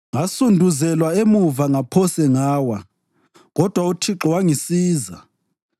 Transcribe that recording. Ngasunduzelwa emuva ngaphose ngawa, kodwa uThixo wangisiza.